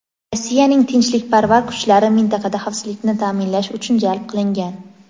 Rossiyaning tinchlikparvar kuchlari mintaqada xavfsizlikni ta’minlash uchun jalb qilingan.